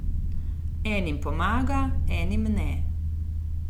Enim pomaga, enim ne...